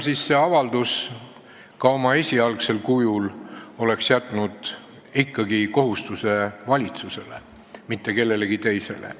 See avaldus oma esialgsel kujul oleks ikkagi ka jätnud kohustuse valitsusele, mitte kellelegi teisele.